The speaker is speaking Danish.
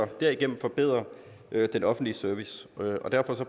derigennem forbedre den offentlige service derfor